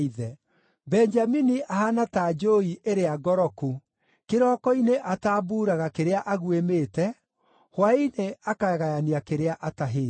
“Benjamini ahaana ta njũũi ĩrĩa ngoroku; kĩroko-inĩ atambuuraga kĩrĩa aguĩmĩte, hwaĩ-inĩ akagayania kĩrĩa atahĩte.”